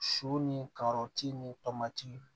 Su ni karɔti ni tɔmati